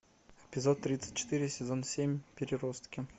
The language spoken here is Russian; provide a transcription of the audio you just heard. эпизод тридцать четыре сезон семь переростки